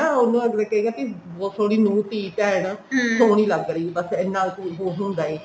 ਤਾਂ ਉਹਨੂੰ ਐਵੇ ਕਹੇਗਾ ਕਿ ਬਹੁਤ ਸੋਹਣੀ ਨੂੰ ਧੀ ਭੈਣ ਸੋਹਣੀ ਲੱਗ ਰਹੀ ਹੈ ਬੱਸ ਇੰਨਾ ਕੁ ਹੀ ਹੁੰਦਾ ਹੈ